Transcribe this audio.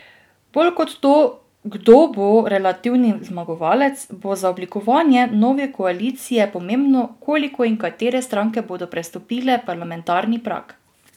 Bolj kot to, kdo bo relativni zmagovalec, bo za oblikovanje nove koalicije pomembno, koliko in katere stranke bodo prestopile parlamentarni prag.